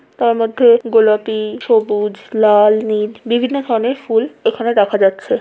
তার মধ্যে গোলাপি সবুজ লাল নীল বিভিন্ন ধরনের ফুল এখানে দেখা যাচ্ছে।